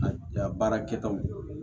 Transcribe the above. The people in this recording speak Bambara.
A baara kɛtaw